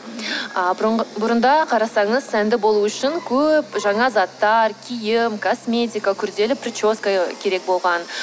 а бұрында қарасаңыз сәнді болу үшін көп жаңа заттар киім косметика күрделі прическа керек болған